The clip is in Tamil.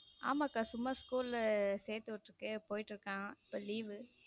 ஆமா அக்கா சும்மா school சேத்து விட்டுருக்கு போயிடு இருக்கான் இப்போ leave வு.